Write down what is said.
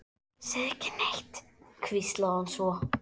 Segðu ekki neitt, hvíslaði hún svo.